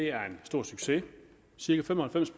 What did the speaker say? er en stor succes cirka fem og halvfems